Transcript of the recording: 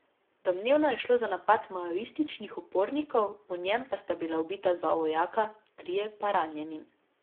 Domnevno je šlo za napad maoističnih upornikov, v njem pa sta bila ubita dva vojaka, trije pa ranjeni.